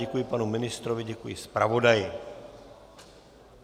Děkuji panu ministrovi, děkuji zpravodaji.